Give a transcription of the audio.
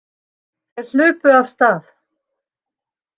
Þeir hlupu af stað.